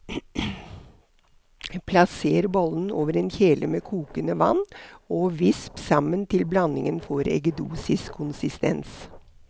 Plasser bollen over en kjele med kokende vann og visp sammen til blandingen får eggedosiskonsistens.